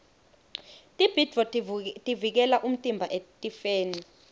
tibhidvo tivikela umtimba etifeni